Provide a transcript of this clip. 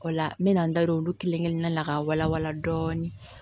O la n bɛ na n da don olu kelen-kelenna na ka walawala dɔɔnin